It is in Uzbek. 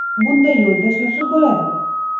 Bunday yo‘lda shoshib bo‘ladimi?